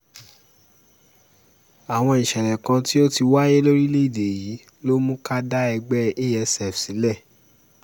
àwọn ìṣẹ̀lẹ̀ kan tó ti wáyé lórílẹ̀‐èdè yìí ló mú ká dá ẹgbẹ́ asf sílẹ̀